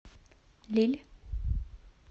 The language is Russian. лилль